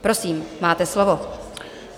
Prosím, máte slovo.